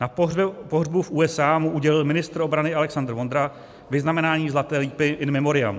Na pohřbu v USA mu udělil ministr obrany Alexander Vondra vyznamenání Zlaté lípy in memoriam.